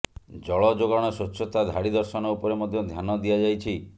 ଜଳଯୋଗାଣ ସ୍ୱଚ୍ଛତା ଧାଡି ଦର୍ଶନ ଉପରେ ମଧ୍ୟ ଧ୍ୟାନ ଦିଆଯାଇଛି